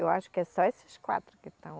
Eu acho que é só esses quatro que estão.